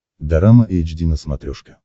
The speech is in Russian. дорама эйч ди на смотрешке